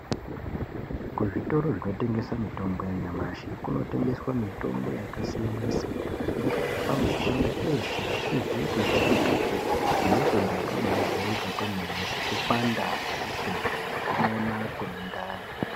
Kuzvitoro zvinotengesa mitombo yanyamashi kunotengeswa mitombo yakasiyana-siyana, inorapa matenda eeshe asizi kujairikapi , nematenda akabaajairika kwemene, sekupanda kwemisoro, nekumona kwemundani.